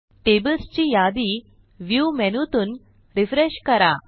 tables ची यादी Viewमेनूतून रिफ्रेश करा